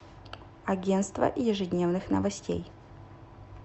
агентство ежедневных новостей